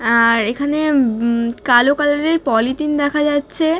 আর এখানে উমব কালো কালার - এর পলিতিন দেখা যাচ্ছে--